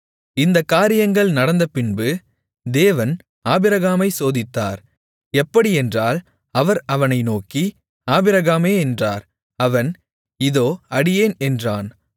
இந்தக் காரியங்கள் நடந்தபின்பு தேவன் ஆபிரகாமைச் சோதித்தார் எப்படியென்றால் அவர் அவனை நோக்கி ஆபிரகாமே என்றார் அவன் இதோ அடியேன் என்றான்